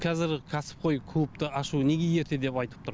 қазір кәсіпқой клубты ашу неге ерте деп айтып тұр